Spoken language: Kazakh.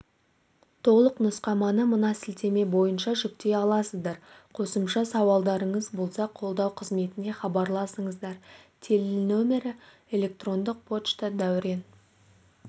толық нұсқаманы мынасілтемебойынша жүктей аласыздар қосымша сауалдарыңыз болса қолдау қызметіне хабарласыңыздар тел нөмірі электрондық пошта дәурен